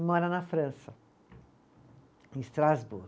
E mora na França, em